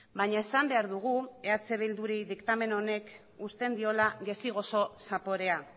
baina esan behar dugu eh bilduri diktamen honek uzten diola gazi gozo zaporea